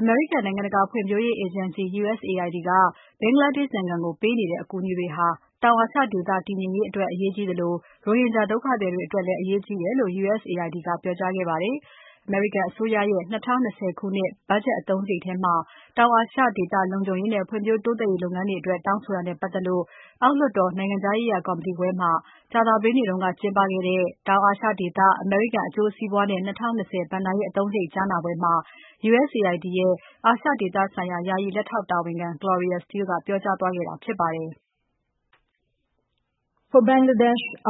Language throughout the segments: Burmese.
အမေရိကန် နိုင်ငံတကာ ဖွံ့ဖြိုးရေး အေဂျင်စီ USAID က ဘင်္ဂလားဒေ့ရှ်နိုင်ငံကို ပေးနေတဲ့ အကူအညီတွေဟာ တောင်အာရှဒေသ တည်ငြိမ်ရေးအတွက် အရေးကြီးသလို ရိုဟင်ဂျာဒုက္ခသည်တွေအတွက်လည်း အရေးကြီးတယ်လို့ USAID က ပြောကြားခဲ့ပါတယ်။ အမေရိကန်အစိုးရရဲ့ ၂၀၂၀ ခုနှစ် ဘတ်ဂျက်အသုံးစရိတ်ထဲမှာ တောင်အာရှဒေသ လုံခြုံရေးနဲ့ ဖွံ့ဖြိုးတိုးတက်ရေးလုပ်ငန်းတွေအတွက် တောင်းဆိုတာနဲ့ ပတ်သက်လို့ အောက်လွှတ်တော် နိုင်ငံခြားရေးရာ ကော်မတီခွဲမှာ ကြာသပတေးနေ့က ကျင်းပတဲ့ တောင်အာရှဒေသ အမေရိကန် အကျိုးစီးပွားနဲ့ ၂၀၂၀ ဘဏ္ဍာရေးအသုံးစရိတ်ကြားနာပွဲမှာ USAID ရဲ့ အာရှဒေသဆိုင်ရာ ယာယီ လက်ထောက်တာဝန်ခံ Gloria Steele က ပြောကြားသွားတာဖြစ်ပါတယ်။ ဘင်္ဂလားဒေ့ရှ်န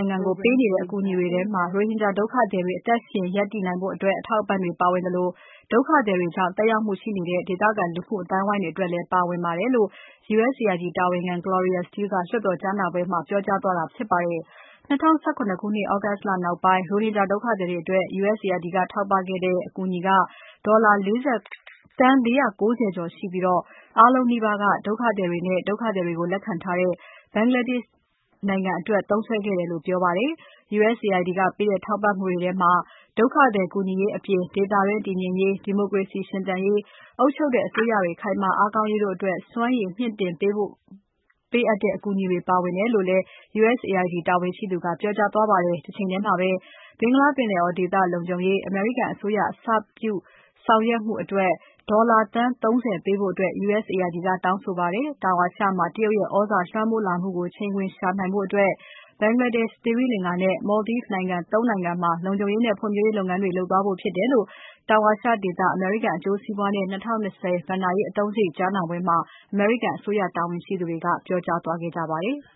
ိုင်ငံကို ပေးနေတဲ့ အကူအညီတွေထဲမှာ ရိုဟင်ဂျာဒုက္ခသည်တွေ အသက်ရှင်ရပ်တည်နိုင်ဖို့ အတွက် အထောက်အပံ့တွေပါဝင်နေသလို ဒုက္ခသည်တွေကြောင့် သက်ရောက်မှုရှိတဲ့ ဒေသခံ လူမှုအသိုင်းအဝိုင်းတွေအတွက်လည်း ပါဝင်တယ်လို့ USAID တာဝန်ရှိသူ Gloria Steele က လွှတ်တော်ကြားနာပွဲမှာ ပြောကြားသွားတာဖြစ်ပါတယ်။ ၂၀၁၇ ခုနှစ် သြဂုတ်လနောက်ပိုင်း ရိုဟင်ဂျာ ဒုက္ခသည်တွေအတွက် USAID က ထောက်ပံ့ခဲ့တဲ့ အကူအညီက ဒေါ်လာ သန်း ၄၉၀ ကျော်ရှိပြီး အားလုံးနီးပါးဟာ ဒုက္ခသည်တွေနဲ့ ဒုက္ခသည်တွေကို လက်ခံထားတဲ့ ဘင်္ဂလားဒေ့ရှ်နိုင်ငံအတွက် သုံးစွဲခဲ့တယ်လို့ ပြောပါတယ်။ USIAD က ပေးတဲ့ ထောက်ပံ့မှုတွေထဲမှာ ဒုက္ခသည် ကူညီရေးအပြင် ဒေသတွင်း တည်ငြိမ်ရေး၊ ဒီမိုကရေစီ စနစ်ရှင်သန်ရေး၊ အုပ်ချုပ်တဲ့ အစိုးရတွေ ခိုင်မာအားကောင်းရေးအတွက် စွမ်းရည်မြှင့်တင်နိုင်ဖို့ ပေးအပ်တဲ့ အကူအညီတွေ ပါဝင်တယ်လို့ USAID တာဝန်ရှိသူ Gloria Steele ကပြောခဲ့ပါတယ်။ တချိန်တည်းမှာ ဘင်္ဂလားပင်လယ်အော် ဒေသလုံခြုံရေး အမေရိကန်အစိုးရ အစပျိုးဆောင်ရွက်မှု အတွက် ဒေါ်လာသန်း ၃၀ ပေးဖို့ USAID က တောင်းဆိုပါတယ်။ တောင်အာရှမှာ တရုတ်ရဲ့ သြဇာလွှမ်းမိုးလာမှုကို ချိန်ခွင်လျှာညှိနိုင်ဖို့ B’desh၊ သီရိလင်္ကာနဲ့ Maldives နိုင်ငံ သုံး နိုင်ငံမှာ လုံခြုံရေးနဲ့ ဖွံ့ဖြိုးရေးလုပ်ငန်းတွေကို လုပ်သွားဖို့ ဖြစ်တယ်လို့ တောင်အာရှဒေသ အမေရိကန် အကျိုးစီးပွားနဲ့ ၂၀၂၀ ဘဏ္ဍာရေးအသုံးစရိတ် ကြားနာပွဲမှာ အမေရိကန် အစိုးရတာဝန်ရှိသူတွေက ပြောကြားသွားခဲ့ကြပါတယ်။